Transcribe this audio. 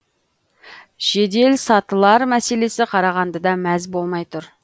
жеделсатылар мәселесі қарағандыда мәз болмай тұр